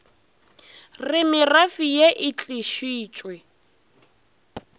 re merafe ye e tlišitšwe